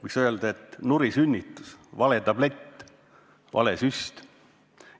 Võiks öelda, et see oli nurisünnitus, vale tablett, vale süst.